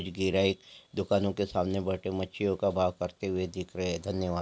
ग्राहक दुकानों के सामने बैठे मछलियों का भाव करते हुए देख रहे हैं धन्यवाद।